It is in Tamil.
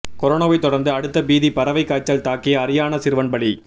கொரோனாவை தொடர்ந்து அடுத்த பீதி பறவை காய்ச்சல் தாக்கி அரியானா சிறுவன் பலி